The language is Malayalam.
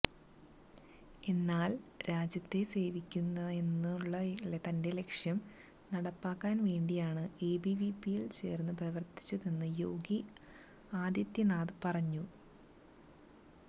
എന്നാല് രാജ്യത്തെ സേവിക്കുകയെന്നുള്ള തന്റെ ലക്ഷ്യം നടപ്പാക്കാന് വേണ്ടിയാണ് എബിവിപിയില് ചേര്ന്നു പ്രവര്ത്തിച്ചതെന്ന് യോഗി ആദിത്യനാഥ് പറഞ്ഞു